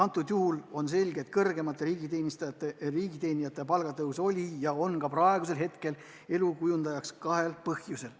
Nii on selge, et kõrgemate riigiteenijate palgatõus oli ja on ka praegu kõne all kahel põhjusel.